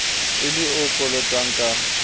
e le o kolotang ka